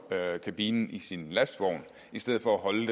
førerkabinen i sin lastvogn i stedet for at holde